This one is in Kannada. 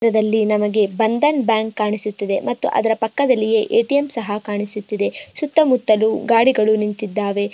ಈ ಚಿತ್ರದಲ್ಲಿ ನಮ್ಮಗೆ ಬಂಧನ್ ಬ್ಯಾಂಕ್ ಕಾಣಿಸುತ್ತಿದೆ ಮತ್ತು ಅದರ ಪಕ್ಕದಲ್ಲಿಯೇ ಎ_ಟಿ_ಎಮ್ ಸಹ ಕಾಣಿಸುತ್ತಿದೆ ಸುತ್ತ ಮುತ್ತಲು ಗಾಡಿಗಳು ನಿಂತ್ಇದ್ದವೆ.